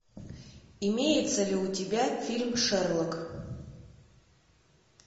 имеется ли у тебя фильм шерлок